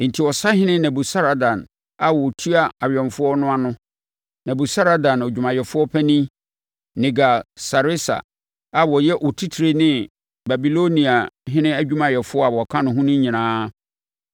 Enti, ɔsahene Nebusaradan a ɔtua awɛmfoɔ no ano, Nebusaradan, adwumayɛfoɔ panin, Nergal-Sareser a ɔyɛ otitire ne Babiloniahene adwumayɛfoɔ a wɔaka no nyinaa